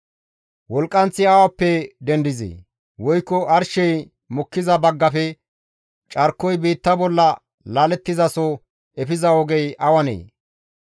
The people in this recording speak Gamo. Wolqqanththi awappe dendizee? Woykko arshey mokkiza baggafe carkoy biitta bolla laalettizaso efiza ogey awanee?